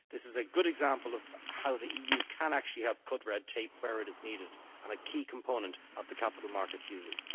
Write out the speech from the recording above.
This is a good example of how the EU can actually help cut red tape where it is needed and a key component of the Capital Markets Union.